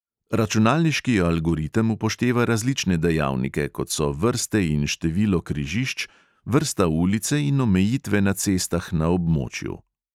Računalniški algoritem upošteva različne dejavnike, kot so vrste in število križišč, vrsta ulice in omejitve na cestah na območju.